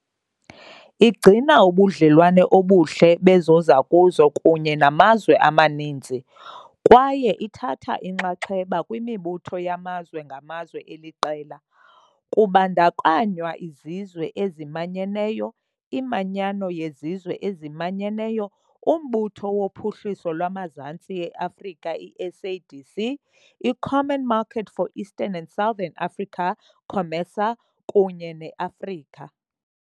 Igcina ubudlelwane obuhle bezozakuzo kunye namazwe amaninzi, kwaye ithatha inxaxheba kwimibutho yamazwe ngamazwe eliqela, kubandakanywa iZizwe eziManyeneyo, iManyano yeZizwe eziManyeneyo, uMbutho woPhuhliso lwaMazantsi e-Afrika, i-SADC, i- Common Market for Eastern and Southern Africa, COMESA, kunye ne- Afrika.